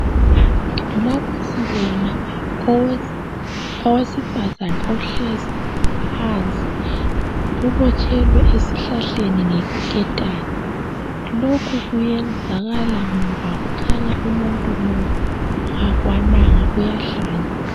Lapha sibona owesifazana ohlezi phansi ubotshelwe esihlahleni ngeketani lokhu kuyenzakala ngoba kukhanya umuntu lo kakwananga uyahlanya.